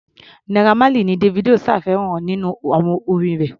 Naira Marley ni Davido ṣàfihàn nínú àwo-orin rẹ̀.